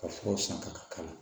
Ka furaw san ka k'ala